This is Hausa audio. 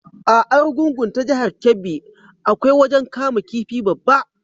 A Arugungun ta jahar Kebbi, akwai wajen kama kifi babba.